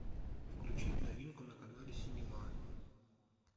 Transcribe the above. включить новинку на канале синема